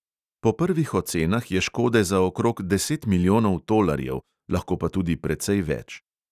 Po prvih ocenah je škode za okrog deset milijonov tolarjev, lahko pa tudi precej več.